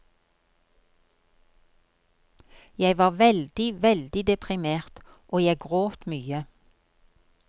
Jeg var veldig, veldig deprimert, og jeg gråt mye.